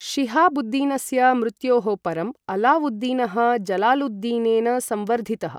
शिहाबुद्दीनस्य मृत्योः परम्, अलावुद्दीनः जलालुद्दीनेन संवर्धितः।